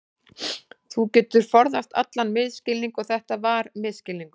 Þá geturðu forðast allan misskilning og þetta var misskilningur.